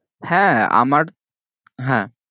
হ্যাঁ আমার হ্যাঁ